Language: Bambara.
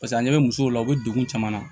Paseke a ɲɛ bɛ musow la u bɛ degun caman na